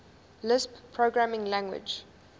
lisp programming language